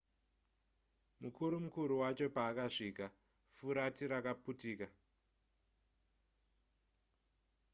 mukuru mukuru wacho paakasvika furati rakaputika